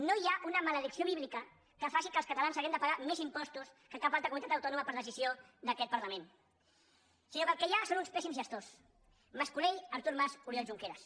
no hi ha una maledicció bíblica que faci que els catalans hàgim de pagar més impostos que cap altra comunitat autònoma per decisió d’aquest parlament sinó que el que hi ha són uns pèssims gestors mas colell artur mas oriol junqueras